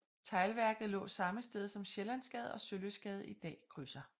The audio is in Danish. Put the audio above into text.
Teglværket lå samme sted som Sjællandsgade og Sølystgade i dag krydser